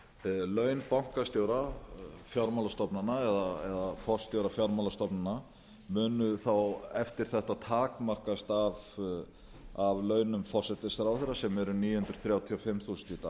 laun bankastjóra fjármálastofnana eða forstjóra fjármálastofnana munu þá eftir þetta takmarkast af launum forsætisráðherra sem eru níu hundruð þrjátíu og fimm þúsund í